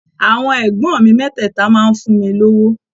Àwọn ẹ̀gbọ́n mi mẹ́tẹ̀ẹ̀ta máa ń fún mi lówó.